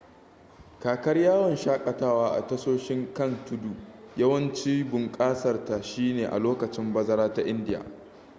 kakar yawon shakatawa a tasoshin kan tuddu yawancibunƙasarta shine a lokacin bazara ta indiya